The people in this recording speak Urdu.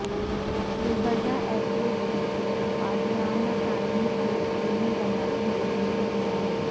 گلبرگہ ائیرپورٹ کی عاجلانہ تعمیر کو یقینی بنانے مودی سے نمائندگی